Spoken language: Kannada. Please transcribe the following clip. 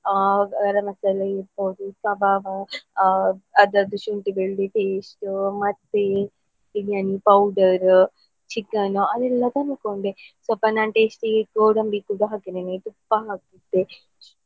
ಆ ಗರಂ ಮಸಾಲೆ ಇರ್ಬೋದು kebab ಆ ಅದ್ರದ್ದು ಶುಂಠಿ ಬೆಳ್ಳುಳ್ಳಿ paste ಮತ್ತೆ biryani powder, chicken ಅದೆಲ್ಲ tasty ಗೆ ಗೋಡಂಬಿ ಕೂಡಾ ಹಾಕಿದ್ದೇನೆ ತುಪ್ಪ ಮತ್ತೆ.